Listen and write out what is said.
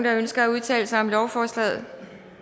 ønsker at udtale sig om lovforslaget